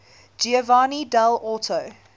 giovanni dall orto